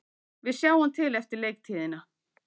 Við sjáum til eftir leiktíðina,